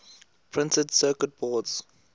printed circuit boards